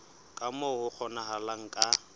ka moo ho kgonahalang ka